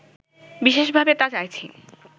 বিশেষভাবে তা চাইছি